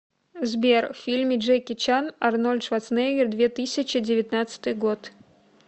сбер в фильме джеки чан арнольд шварценеггер две тысячи девятнадцатый год